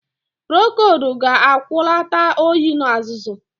Procold ga-agwọta oyi na azụzụ